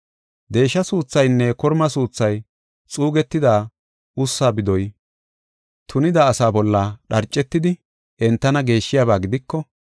Deesha suuthaynne korma suuthay, xuugetida ussa bidoy, tunida asaa bolla dharcetidi entana geeshshiyaba gidiko,